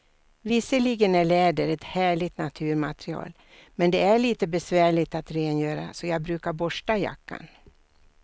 Visserligen är läder ett härligt naturmaterial, men det är lite besvärligt att rengöra, så jag brukar borsta jackan.